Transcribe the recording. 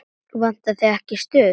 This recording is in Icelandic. Vantar þig ekki stuð?